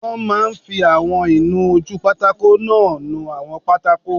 Wọ́n máa n fi àwọn ìnu-ojúpátákó náà nu àwọn pátákó